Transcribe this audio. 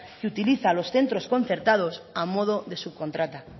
y utiliza los centros concertados a modo de subcontrata